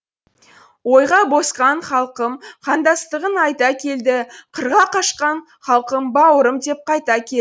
ойға босқан халқым қандастығын айта келді қырға қашқан халқым бауырым деп қайта